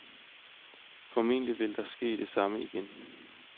Formentlig vil der ske det samme igen.